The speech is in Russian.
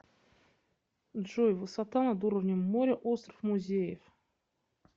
джой высота над уровнем моря остров музеев